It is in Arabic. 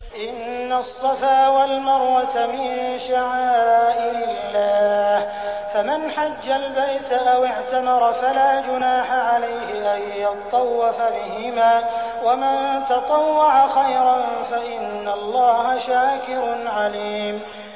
۞ إِنَّ الصَّفَا وَالْمَرْوَةَ مِن شَعَائِرِ اللَّهِ ۖ فَمَنْ حَجَّ الْبَيْتَ أَوِ اعْتَمَرَ فَلَا جُنَاحَ عَلَيْهِ أَن يَطَّوَّفَ بِهِمَا ۚ وَمَن تَطَوَّعَ خَيْرًا فَإِنَّ اللَّهَ شَاكِرٌ عَلِيمٌ